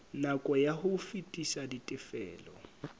nako ya ho fetisa ditifelo